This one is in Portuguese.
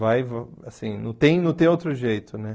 Vai, assim, não tem não tem outro jeito, né?